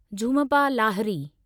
Jhumpa Lahiri